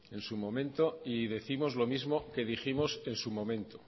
en su momento y décimos lo mismo que dijimos en momento